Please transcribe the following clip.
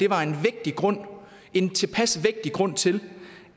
var en vægtig grund en tilpas vægtig grund til